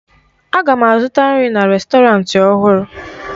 Aga m azụta nri na rèstọrantị ọhụrụ